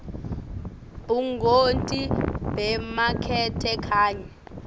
bungoti bemakethe kanye